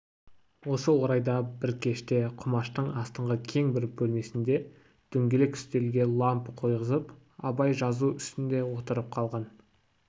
осы орайда бір кеште құмаштың астыңғы кең бір бөлмесінде дөңгелек үстелге лампы қойғызып абай жазу үстінде отырып қалған